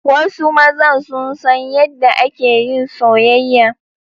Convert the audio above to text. Wasu mazan sun san yadda ake yin soyayya.